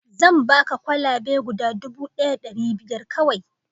zan baka kwalabe guda dubu ɗaya da ɗari biyar kawai